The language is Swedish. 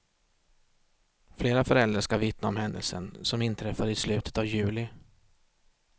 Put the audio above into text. Flera föräldrar ska vittna om händelsen, som inträffade i slutet av juli.